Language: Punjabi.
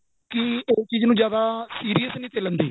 ਕਿ ਉਹ ਚੀਜ ਨੂ ਜਿਆਦਾ serious ਵਿੱਚ ਨਹੀਂ ਲੇਂਦੇ